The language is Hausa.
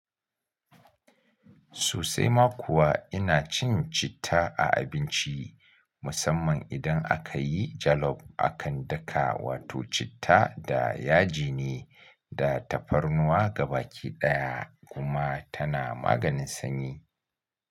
Sosai ma kuwa ina cin citta a abinci, musamman idan aka yi jalof akan daka, wato citta da yaji ne da tafarnuwa gaba ki ɗaya kuma tana maganin sanyi.